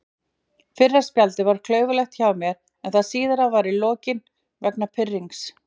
Fyrra spjaldið var klaufalegt hjá mér en það síðara var í lokin vegna pirrings.